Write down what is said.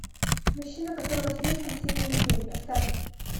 мужчина которого слишком сильно любили поставь